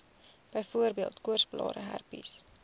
byvoorbeeld koorsblare herpes